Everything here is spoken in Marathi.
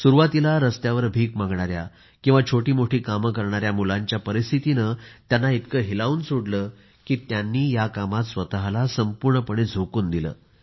सुरवातीला रस्त्यावर भिक मागणाऱ्या किंवा छोटे मोठे काम करणाऱ्या मुलांच्या परिस्थितीने त्यांना इतके हेलावून सोडले की त्यांनी या कामात स्वतःला संपूर्णपणे झोकून दिले